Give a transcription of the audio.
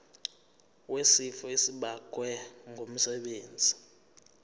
wesifo esibagwe ngumsebenzi